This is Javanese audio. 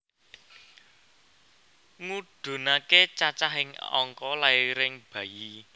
Ngudhunake cacahing angka lairing bayi